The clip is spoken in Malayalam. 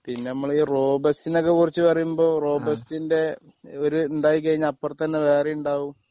പിന്നെ നമ്മളീ റോബസ്റ്റ്നെ ഒക്കെ കുറിച്ച് പറയുമ്പോ റോബസ്റ്റിൻ്റെ ഒരു ഉണ്ടായിക്കഴിഞ്ഞാൽ അപ്പറത്ത് തന്നെ വേറെയും ഉണ്ടാകും